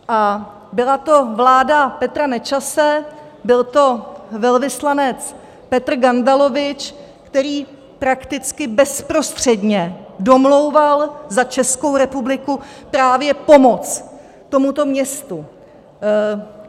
A byla to vláda Petra Nečase, byl to velvyslanec Petr Gandalovič, který prakticky bezprostředně domlouval za Českou republiku právě pomoc tomuto městu.